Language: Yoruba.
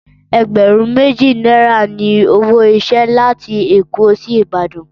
Ẹgbẹ̀rún méjì náírà ni owó ìrìnsẹ̀ láti Èkó sí Ìbàdàn